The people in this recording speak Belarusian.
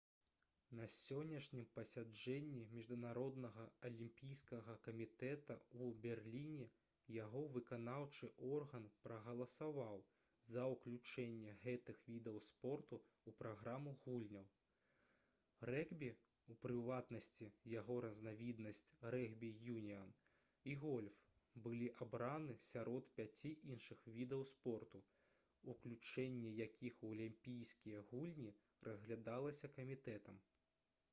на сённяшнім пасяджэнні міжнароднага алімпійскага камітэта ў берліне яго выканаўчы орган прагаласаваў за ўключэнне гэтых відаў спорту ў праграму гульняў. рэгбі у прыватнасці яго разнавіднасць рэгбі-юніан і гольф былі абраны сярод пяці іншых відаў спорту уключэнне якіх у алімпійскія гульні разглядалася камітэтам